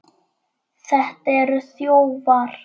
Þetta eru þjófar!